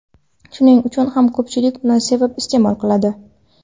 Shuning uchun ham ko‘pchilik uni sevib iste’mol qiladi.